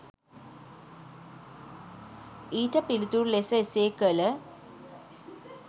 ඊට පිළිතුරු ලෙස එසේ කල